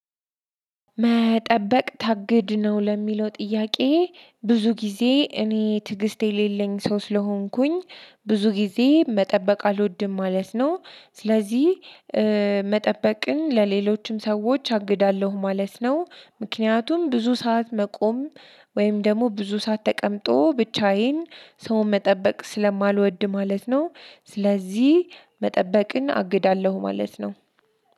መጠበቅ ግድ ነው ለሚለው ጥያቄ ብዙ ጊዜ እኔ ትግስት የሌለኝ ሰው ስለሆንኩኝ ብዙ ጊዜ መጠበቅ አልወድም ማለት ነው። ስለዚህ መጠበቅን ለሌሎችም ሰዎች አግዳለሁ ማለት ነው። ምክንያቱም ብዙ ሰዓት መቆም ወይም ደግሞ ብዙ ሰዓት ተቀምጦ ብቻዬን ሰውን መጠበቅ ስለማልወድ ማለት ነው። ስለዚህ መጠበቅን አግዳለሁ ማለት ነው።